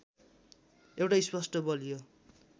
एउटा स्पष्ट बलियो